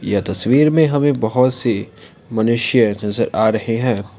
यह तस्वीर में हमें बहुत से मनुष्य नजर आ रहे हैं।